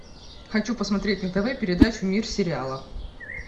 хочу посмотреть на тв передачу мир сериала